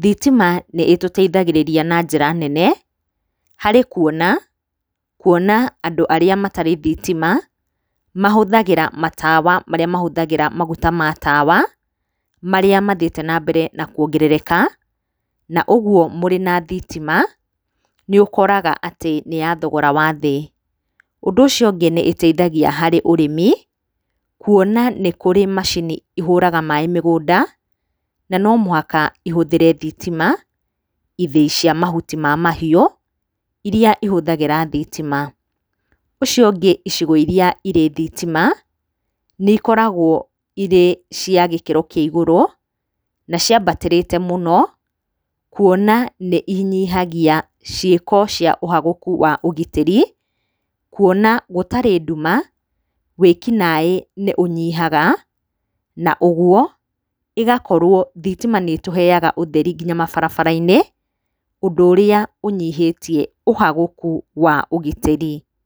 thitima nĩ itũteithagĩrĩrĩa na njĩra nene, harĩ kuona, kuona andũ arĩa matarĩ thitima, mahũthagĩra matawa marĩa mahũthagĩra maguta ma tawa, marĩa mathiĩte na mbere na kuongerereka, na ũguo mũrĩ na thitima, nĩ ũkoraga atĩ nĩ ya thogora wa thĩ. Ũndũ ũcio ũngĩ nĩ ĩteithagia harĩ ũrĩmi, kuona nĩ kũrĩ macini ihũraga maĩ mĩgũnda, na no mũhaka ihũthĩre thitima, ithĩĩ cia mahuti ma mahiũ, iria ihũthagĩra thitima. Ũcio ũngĩ icigo iria irĩ thitima, nĩ ikoragwo irĩ cia gĩkĩro kĩa igũrũ, na ciambatĩrĩte mũno kuona nĩ inyihagia ciĩko cia ũhagũku wa ũgitĩri, kuona gũtarĩ nduma, wĩki naĩ nĩ ũnyihaga, na ũguo ĩgakorwo, thitima nĩ ĩtũheaga ũtheri nginya mabarabara-inĩ, ũndũ ũrĩa ũnyihĩtie ũhagũku wa ũgitĩri.